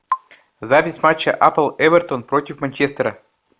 запись матча апл эвертон против манчестера